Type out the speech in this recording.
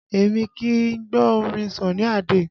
Èmi kì í gbọ́ orin Sunny Ade